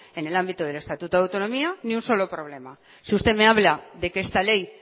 en el ámbito del estatuto de autonomía ni un solo problema si usted me habla de que esta ley